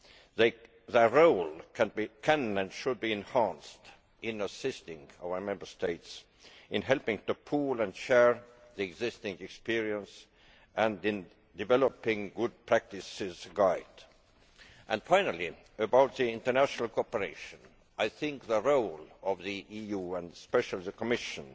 Their role can, and should, be enhanced in assisting our Member States, in helping to pool and share the existing experience and in developing a good practice guide. Finally, with regard to international cooperation, I think the role of the EU, and especially the Commission,